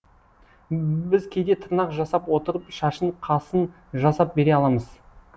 біз кейде тырнақ жасап отырып шашын қасын жасап бере аламыз